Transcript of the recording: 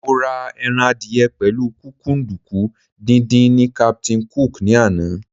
Mo ra ẹran adìyẹ pẹ̀lú kúkúǹdùkú díndín ní Captain Cook ní àná.